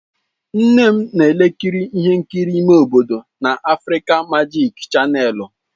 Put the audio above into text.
Nne m na-ekiri ihe nkiri ime obodo na Afrịka Majik chanèlụ.